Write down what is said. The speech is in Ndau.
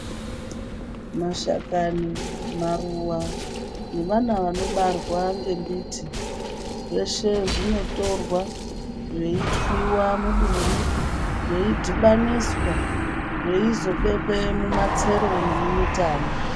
Mashakani, maruwa nevana vanobarwa ngembiti zveshe zvinotorwa veitwiwa muduri veidhibaniswa veizobekwe mumatsero nemumitani.